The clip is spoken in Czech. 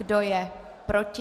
Kdo je proti?